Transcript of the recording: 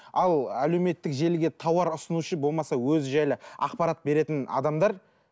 ал әлеуметтік желіге тауар ұсынушы болмаса өзі жайлы ақпарат беретін адамдар